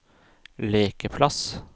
lekeplass